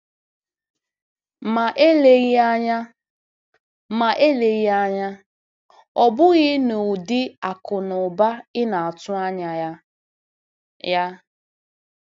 Ma eleghị anya, ma eleghị anya ọ bụghị n'ụdị akụ̀ na ụba ị na-atụ anya ya. ya.